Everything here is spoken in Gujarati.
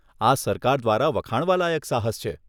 આ સરકાર દ્વારા વખાણવા લાયક સાહસ છે.